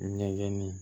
Ɲɛgɛnni